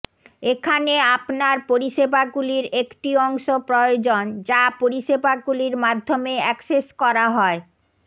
এখানে আপনার পরিষেবাগুলির একটি অংশ প্রয়োজন যা পরিষেবাগুলির মাধ্যমে অ্যাক্সেস করা হয়